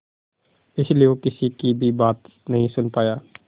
इसलिए वो किसी की भी बात नहीं सुन पाया